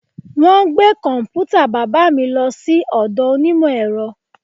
Wọn gbé kọ̀m̀pútà bàbà mi lọ sí ọ̀dọ̀ onímọ̀ ẹ̀rọ